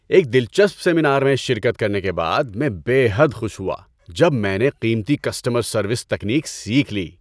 ایک دلچسپ سیمینار میں شرکت کرنے کے بعد، میں بے حد خوش ہوا جب میں نے قیمتی کسٹمر سروس تکنیک سیکھ لی۔